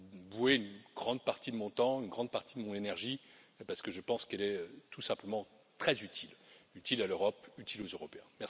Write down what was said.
voué une grande partie de mon temps, une grande partie de mon énergie parce que je pense qu'elle est, tout simplement, très utile, utile à l'Europe, utile aux Européens.